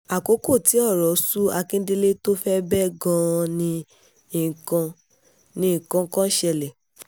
àkókò tí ọ̀rọ̀ sú àkíndélẹ̀ tó fẹ́ẹ́ bẹ́ gan-an ni nǹkan ni nǹkan kan ṣẹlẹ̀